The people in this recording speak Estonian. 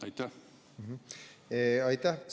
Aitäh!